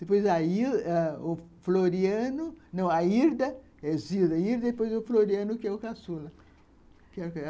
Depois o Floriano, não, a Irda, Zilda, e depois o Floriano, que é o Caçula.